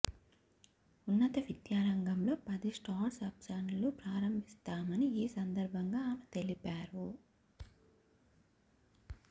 ఉన్నత విద్యా రంగంలో పదిస్టార్డ్అప్స్లను ప్రారంభిస్తామని ఈ సందర్భంగా ఆమె తెలిపారు